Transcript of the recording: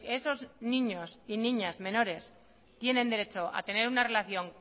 esos niños y niñas mejores tienen derecho a tener una relación